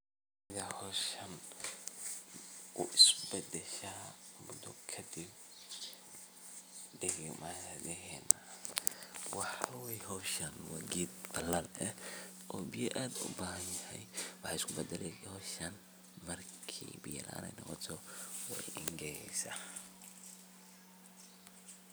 Sidhee hawsha isu beddeshay muddo kadib degmadhiina? waxaa weye xoosha waa gedd balad ehe oo biyo aad ubaaxan yahy waxey isubadalee howshan markey biyo laan noqoto wey engegeysa.